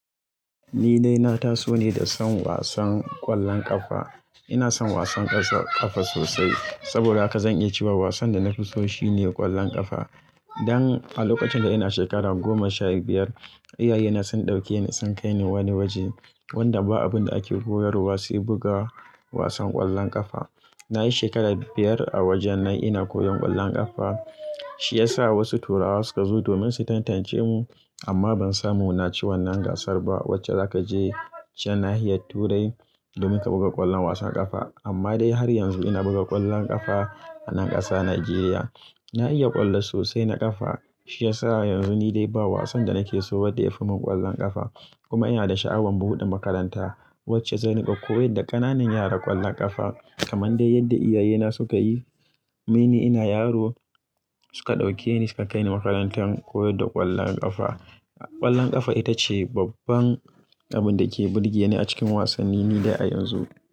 Ni dai na taso ne da son wasan ƙwallon ƙafa. Ina son wasan ƙasa ƙafa sosai saboda haka zan iya cewa wasan da na fi so shine ƙwallon ƙafa. Dan a lokacin da ina shekara goma sha biyar, iyayena sun ɗauke ni sun kai ni wani waje wanda ba abin da ake koyarwa sai buga wasan ƙwallon ƙafa. Na yi shekara biyar a wajen nan ina koyon ƙwallon ƙafa, shi ya sa wasu Turawa suka zo domin su tantance mu amma ban samu naci wannan gasar ba wacce za ka je can nahiyar Turai domin ka buga ƙwallon wasan ƙafa. Amma dai har yanzu ina buga ƙwallon ƙafa a nan ƙasa Najeriya. Na iya ƙwallo sosai na ƙafa shi ya sa yanzu ni dai ba wasan da nake so wadda ya fi mun ƙwallon ƙafa kuma ina da sha'awan buɗe makaranta wacce zan riƙa koyar da ƙananan yara ƙwallon ƙafa kamar dai yadda iyayena suka yi. Tun ina yaro suka ɗauke ni suka kai ni makarantar koyar da ƙwallon ƙafa. Ƙwallon ƙafa ita ce babban abun da ke burge ni a cikin wasanni ni dai a yanzu.